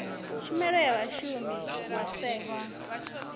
tshumelo ya vhashumi vha sax